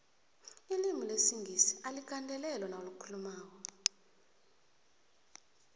ilimulesingisi aligandelelwa nawulikhulu mako